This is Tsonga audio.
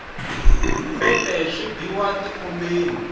mpepe swi biwa ti khombeni